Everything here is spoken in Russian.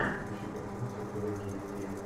включи картину с актером джимом кэрри